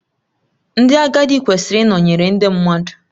Ndị agadi kwesịrị ịnọnyere ndị mmadụ